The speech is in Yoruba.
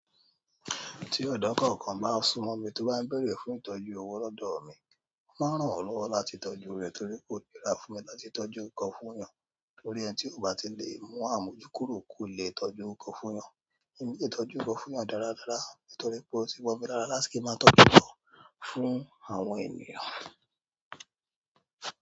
Tí ọ̀dọ́ kọ̀ọ̀kan bá súmọ̀ mi tó bá ń béèrè fún ìtọ́jú owó lọ́dọ̀ mi, máa ràn án lọ́wọ́ láti tọ́jú rẹ̀ torí kò nira fún mi láti tọ́jú nǹkan fún ènìyàn torí ẹni tí kò bá lè mú àmójúkúrò kò leè tọ́jú nǹkan fún ènìyàn. Èmi lè tọ́jú nǹkan fún ènìyàn dáradára nítorí pé ó ti mọ́ mi lára láti kí n máa tọ́jú ǹkan fún àwọn ènìyàn.